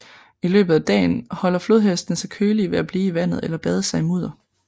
I løbet af dagen holder flodhestene sig kølige ved at blive i vandet eller bade sig i mudder